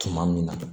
Tuma min na